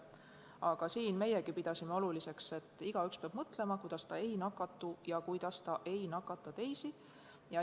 Aga siin pidasime meiegi oluliseks seda, et igaüks peab ise mõtlema, kuidas ta ei nakatuks ja ei nakataks teisi.